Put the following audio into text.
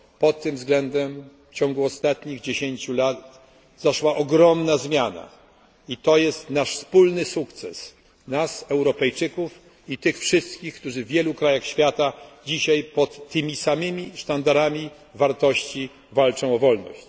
Pod tym względem w ciągu ostatnich dziesięciu lat zaszła ogromna zmiana i to jest nasz wspólny sukces nas Europejczyków i tych wszystkich, którzy w wielu krajach świata dzisiaj pod tymi samymi sztandarami wartości walczą o wolność.